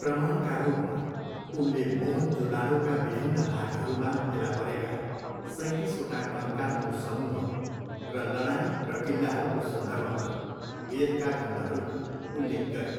प्रमाणका रूपमा, उनले मोहेनजोदाडोका विभिन्न भागहरूमा फेला परेका सैँतिसवटा कङ्कालको समूह र लडाइँ र किल्लाहरूको सन्दर्भमा वेदका खण्डहरूको उल्लेख गरे।